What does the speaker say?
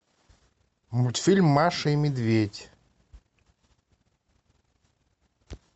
мультфильм маша и медведь